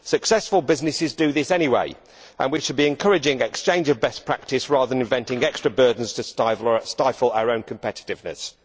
Successful businesses do this anyway and we should be encouraging exchange of best practice rather than inventing extra burdens to stifle our own competitiveness.